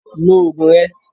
Lo oògùn rẹ!